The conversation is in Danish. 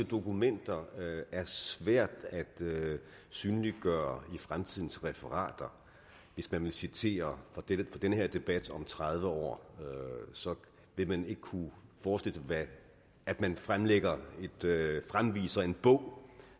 dokumenter er svært at synliggøre i fremtidens referater hvis man vil citere fra den her debat om tredive år så vil man ikke kunne forestille sig at man fremviser fremviser en bog